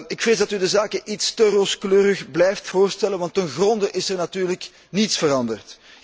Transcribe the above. Ik vrees dat u de zaken iets te rooskleurig blijft voorstellen, want in wezen is er natuurlijk niets veranderd.